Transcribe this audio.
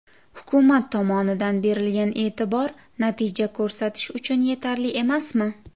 Hukumat tomonidan berilgan e’tibor, natija ko‘rsatish uchun yetarli emasmi?